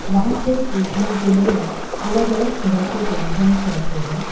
वहां पे बेचने के लिए अलग अलग तरह के व्यंजन्स रखे हैं।